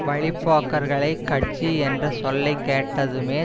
வழி போக்கர்கள் கட்சி என்ற சொல்லை கேட்டதுமே